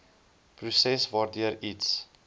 proses waardeur iets